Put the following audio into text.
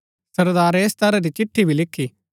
सरदारै ऐस तरह री चिट्ठी भी लिखी